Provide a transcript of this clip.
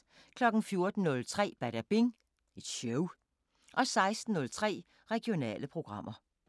14:03: Badabing Show 16:03: Regionale programmer